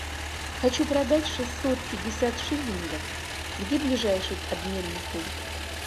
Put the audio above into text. хочу продать шестьсот пятьдесят шиллингов где ближайший обменный пункт